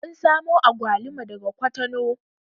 Mun samo agwaluma daga kwatano